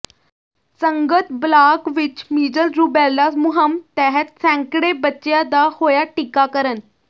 ਸੰਗਤ ਬਲਾਕ ਵਿਚ measles rubella ਮੁਹਿੰਮ ਤਹਿਤ ਸੈਂਕੜੇ ਬੱਚਿਆਂ ਦਾ ਹੋਇਆ ਟੀਕਾਕਰਨ